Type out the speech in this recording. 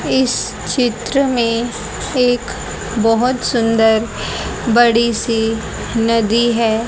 इस चित्र में एक बहोत सुंदर बड़ी सी नदी है।